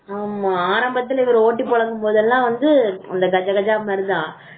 ஆரம்பத்திலே போட்டி போடணும் போதெல்லாம் அப்டிதா கஜ கஜா மாதிரி